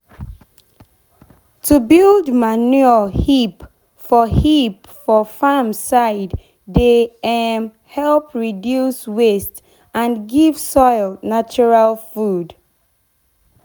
to build manure heap for heap for farm side dey um help reduce waste and give soil natural food.